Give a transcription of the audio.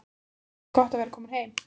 Mikið er gott að vera komin heim!